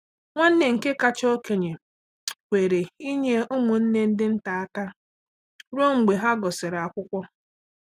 Nwanne nke kacha okenye kwere inye ụmụnne ndị nta aka ruo mgbe ha gụsịrị akwụkwọ.